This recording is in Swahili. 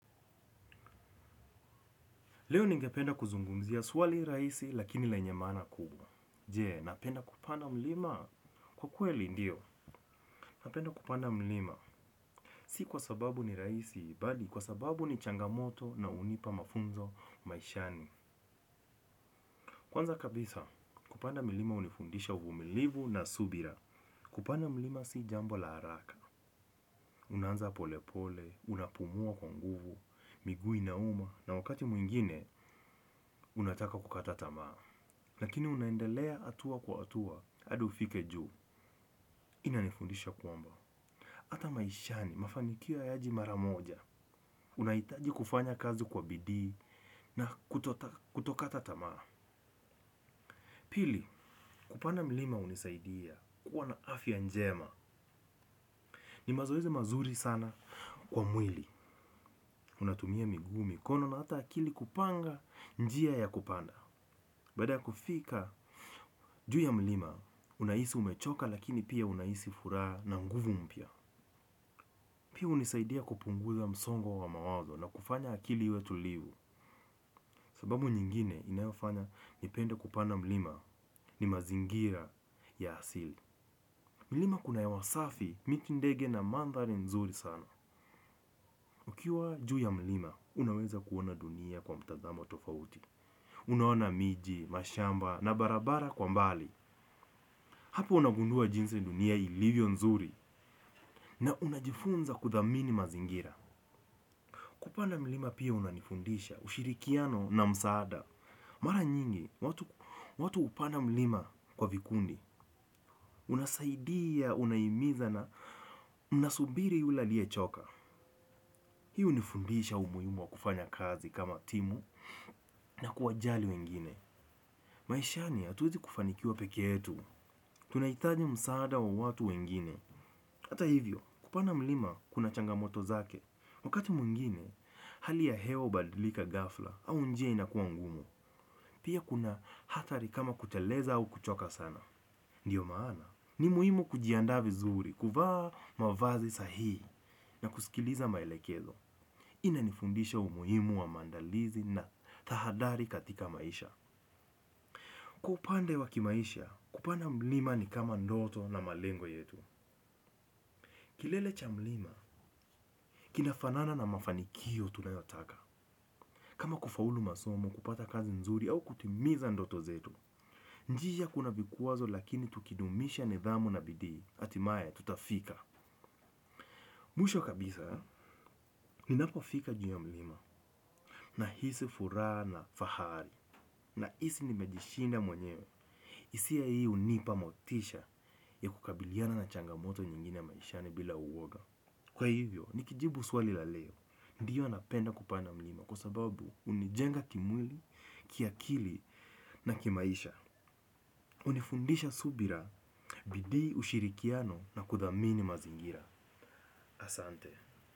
Leo ningependa kuzungumzia swali rahisi lakini lenye maana kubwa. Je, napenda kupanda mlima? Kwa kweli ndio, napenda kupanda mlima. Si kwa sababu ni rahisi, mbali kwa sababu ni changamoto na unipa mafunzo maishani. Kwanza kabisa, kupanda mlima unifundisha uvumilivu na subira. Kupanda mlima si jambo la haraka. Unaanza polepole, unapumua kwa nguvu, miguu inauma, na wakati mwingine, unataka kukatata tamaa. Lakini unaendelea atua kwa atua, hadi ufike juu. Inanifundisha kwamba. Hata maishani, mafanikio hayaji maramoja. Unaitaji kufanya kazi kwa bidii na kutokata tamaa. Pili, kupanda mlima unisaidia. Kuwa na afya njema. Ni mazoezi mazuri sana kwa mwili. Unatumia miguu, mikono na hata akili kupanga njia ya kupanda. Baada ya kufika, juu ya mlima unahisi umechoka lakini pia unahisi furaha na nguvu mpya. Pia unisaidia kupunguza msongo wa mawazo na kufanya akili iwe tulivu. Sababu nyingine inafanya nipende kupanda mlima ni mazingira ya asili. Mlima kuna hewa safi miti, ndege na mandhari nzuri sana. Ukiwa juu ya mlima, unaweza kuona dunia kwa mtazamo tofauti. Unaona miji, mashamba na barabara kwa mbali. Hapo unagundua jinsi dunia ilivyo nzuri na unajifunza kuthamini mazingira. Kupanda mlima pia unanifundisha, ushirikiano na msaada. Mara nyingi, watu upanda mlima kwa vikundi, unasaidia, unahimiza na unasubiri yule aliye choka. Hiu unifundisha umuhimu wa kufanya kazi kama timu na kuwajali wengine. Maishani, hatuwezi kufanikiwa peke yetu, tunahitaji msaada wa watu wengine. Hata hivyo, kupanda mlima kuna changamoto zake. Wakati mwingine, hali ya hewa ubadilika ghafla au njia inakuwa ngumu. Pia kuna hatari kama kuteleza au kuchoka sana. Ndiyo maana. Ni muhimu kujiandaa vizuri, kuvaa mavazi sahii na kusikiliza maelekezo. Ina nifundisha umuhimu wa maandalizi na tahadari katika maisha. Kwa upande wa kimaisha, kupanda mlima ni kama ndoto na malengo yetu. Kilele cha mlima, kinafanana na mafanikio tunayotaka. Kama kufaulu masomu kupata kazi nzuri au kutimiza ndoto zetu. Njia kuna vikwazo lakini tukidumisha nidhamu na bidii, atimaye tutafika. Mwisho kabisa, ni napofika juu ya mlima. Nahisi furaha na fahari. Na hisi nimejishinda mwenyewe hisia hii unipa motisha ya kukabiliana na changamoto nyingine maishani bila uoga. Kwa hivyo, nikijibu swali la leo, ndiyo napenda kupanda mlima kwa sababu unijenga kimwili, kiakili na kimaisha. Unifundisha subira, bidii ushirikiano na kudhamini mazingira. Asante.